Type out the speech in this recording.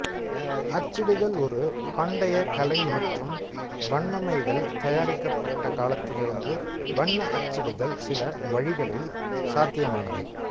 அச்சிடுதல் ஒரு பண்டைய கலை மற்றும் வண்ணமைகள் தயாரிக்கப்பட்ட காலத்திலிருந்து வண்ண அச்சிடுதல் சில வழிகளில் சாத்தியமானது